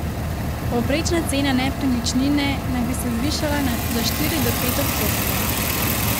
Povprečna cena nepremičnine naj bi se zvišala za štiri do pet odstotkov.